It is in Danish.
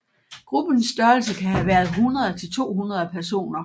Gruppens størrelse kan have været 100 til 200 personer